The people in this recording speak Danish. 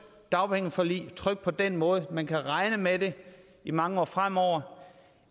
dagpengeforlig det trygt på den måde at man kan regne med det i mange år fremover